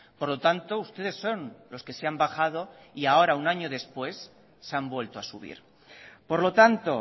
por lo tanto ustedes son los que se han bajado y ahora un año después se han vuelto a subir por lo tanto